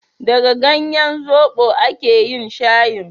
daga ganyen zobo a ke yin shayin